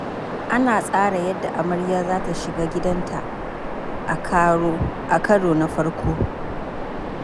Ana tsara yadda amarya za ta shiga gidanta a karo na farko.